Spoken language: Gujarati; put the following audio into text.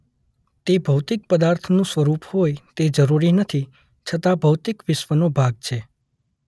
તે ભૌતિક પદાર્થનું સ્વરૂપ હોય તે જરૂરી નથી છતાં ભૌતિક વિશ્વનો ભાગ છે